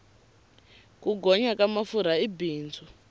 ku gonya ka mafurha i bindzu